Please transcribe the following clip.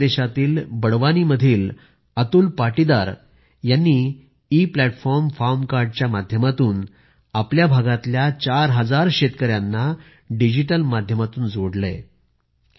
मध्यप्रदेशातील बडवानीमधील अतुल पाटीदार यांनी इ प्लॅटफॉर्म फार्म कार्ड च्या माध्यमातून आपल्या भागातील चार हजार शेतकऱ्यांना डिजिटल माध्यमातून जोडले आहे